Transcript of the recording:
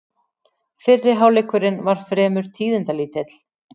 Fyrri hálfleikurinn var fremur tíðindalítill